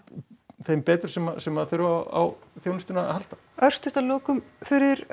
þeim betur sem sem þurfa á þjónustunni að halda örstutt að lokum Þuríður